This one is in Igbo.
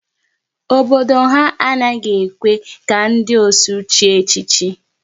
Obodo ha a naghị ekwe ka ndị ọsụ chie echichi